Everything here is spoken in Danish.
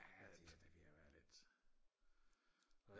ja det er ved at være lidt